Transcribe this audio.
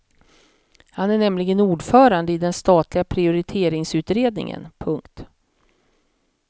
Han är nämligen ordförande i den statliga prioriteringsutredningen. punkt